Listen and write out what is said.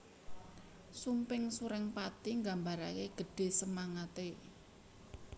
Sumping Surengpati nggambarake gedhe semangate